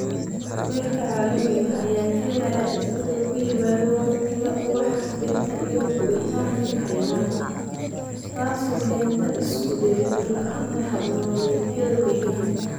Kulaylka caalamiga ah ayaa keenaya isbeddel ku yimaada waqtiga ubaxyada dhirta iyo guuritaanka xayawaanka, taasoo keenta isu dheelitir la'aanta hab-nololeedyada deegaanka.